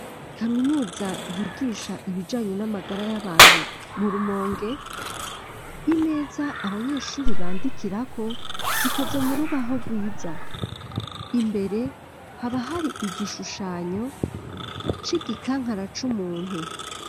Kaminuza yigisha ibijanye n'amagara y'abantu mu rumonge, imeza abanyeshure bandikirako zikoze mu rubaho rwiza imbere haba hari igishushanyo c'igikankara c'umuntu.